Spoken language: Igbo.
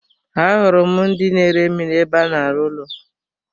Ahụrụ m ndị na ere mmiri ébé a na-aru ụlọ.